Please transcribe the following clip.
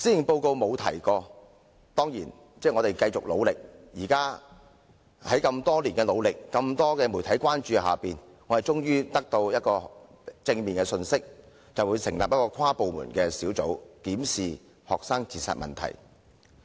我們當然會繼續努力，而經過多年的努力及在眾多媒體的關注下，我們終於獲得正面的回應，就是政府將會成立一個跨部門小組，檢視學生自殺問題。